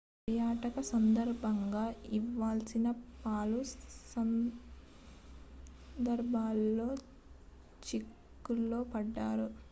తన పర్యటన సందర్భంగా ఇవాసాకి పలు సందర్భాల్లో చిక్కుల్లో పడ్డారు